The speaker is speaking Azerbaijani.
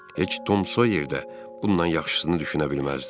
Heç Tom Soyer də bundan yaxşısını düşünə bilməzdi.